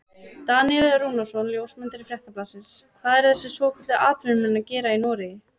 Daníel Rúnarsson ljósmyndari Fréttablaðsins: Hvað eru þessir svokölluðu atvinnumenn að gera í Noregi?